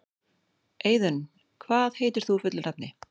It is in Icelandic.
Eiðunn, hvað heitir þú fullu nafni?